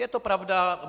Je to pravda.